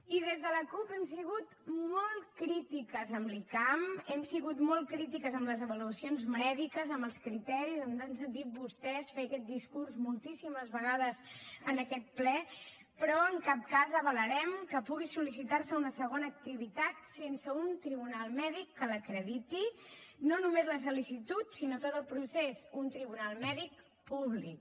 i des de la cup hem sigut molt crítiques amb l’icam hem sigut molt crítiques amb les avaluacions mèdiques amb els criteris ens han sentit vostès fer aquest discurs moltíssimes vegades en aquest ple però en cap cas avalarem que pugui sol·licitar se una segona activitat sense un tribunal mèdic que l’acrediti no només la sol·licitud sinó tot el procés un tribunal mèdic públic